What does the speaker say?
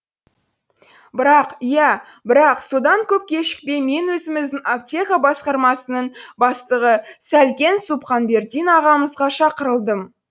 бірақ иә бірақ содан көп кешікпей мен өзіміздің аптека басқармасының бастығы сәлкен сұбханбердин ағамызға шақырылдым